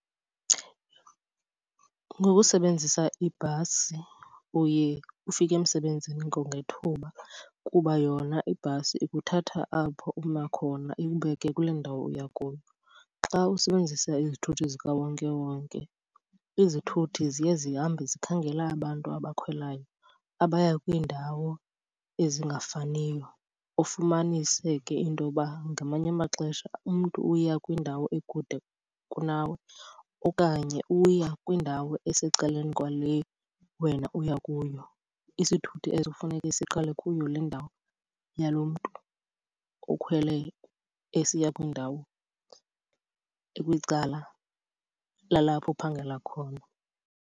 Ngokusebenzisa iibhasi uye ufike emsebenzini kwangethuba kuba yona ibhasi ikuthatha apho uma khona ikubeke kule ndawo uya kuyo. Xa usebenzisa izithuthi zikawonkewonke, izithuthi ziye zihambe zikhangela abantu abakhweleyo abaya kwiindawo ezingafaniyo. Ufumanise ke intoba ngamanye amaxesha umntu uya kwindawo ekude kunawe okanye uya kwindawo esecaleni kwale wena uya kuyo. Isithuthi eso kufuneke siqale kuyo le ndawo yalo mntu ukhwele esiya kwindawo ekwicala lalapho uphangela khona.